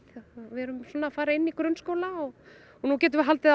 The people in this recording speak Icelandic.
við erum að fara inn í grunnskóla og nú getum við haldið